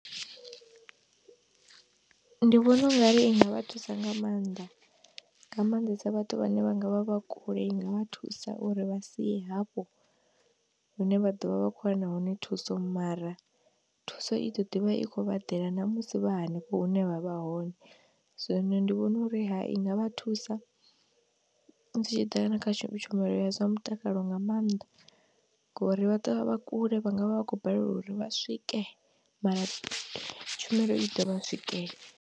Ndi vhona ungari i nga vha thusa nga maanḓa, nga maanḓesa vhathu vhane vha nga vha vha kule i nga vha thusa uri vha si ye hafho hune vha ḓo vha vha khou wana hone thuso mara, thuso i ḓo ḓivha i khou vha ḓela na musi vha hanefho hune vha vha hone, zwino ndi vhona uri ha i nga vha thusa, zwi tshi ḓa na kha tshumelo ya zwa mutakalo nga maanḓa, ngori vha ḓo vha vha kule, vha nga vha vha khou balelwa uri vha swike mara tshumelo i ḓo vha swikela.